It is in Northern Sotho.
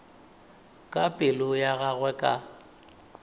ka pelo ya gagwe ka